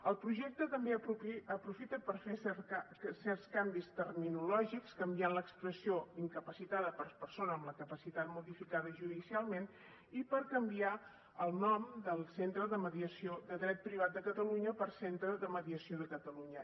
el projecte també aprofita per fer certs canvis terminològics canviar l’expressió incapacitada per persona amb la capacitat modificada judicialment i per canviar el nom del centre de mediació de dret privat de catalunya per centre de mediació de catalunya